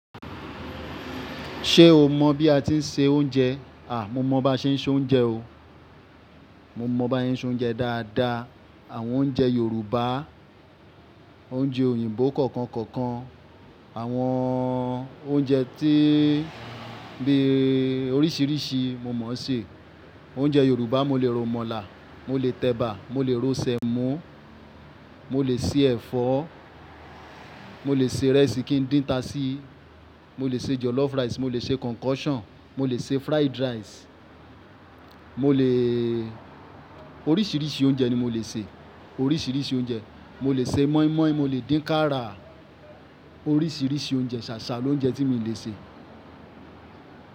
Ṣé o mọ̀ bí a ti ń se oúnjẹ? À, mo mọ̀ bá ṣe ń soúnjẹ o. Mo mọ bá ṣe ń soúnjẹ dáadáa. Àwọn oúnjẹ Yorùbá, oúnjẹ òyìnbó kọ̀ọ̀kan kọ̀ọ̀kan, àwọn oúnjẹ tí bí oríṣiríṣi mo mọ̀ ṣe. Oúnjẹ Yorùbá, mo lè ro mọ̀là, mo lè tẹ̀bà, mo lè ro Sẹ̀mọ́, mo lè ṣe ẹ̀fọ́, mo lè ṣe rẹ́ẹ̀sì kí ń dín tasí, mo lè ṣe jọ̀lọ́fù rice, mo lè ṣe concoction, mo lè ṣe fried rice, mo lèèé oríṣiríṣi oúnjẹ ni mo lè ṣe, oríṣiríṣi oúnjẹ. Mo lè ṣe mọ́ímọ́í, mo lè dín kàra, oríṣiríṣi oúnjẹ, ṣàṣà lóúnjẹ tí mi o lè ṣe.